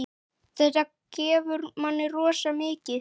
Þetta gefur manni rosa mikið.